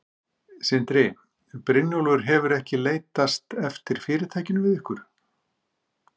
Sindri: Björgólfur hefur ekki leitast eftir fyrirtækinu við ykkur?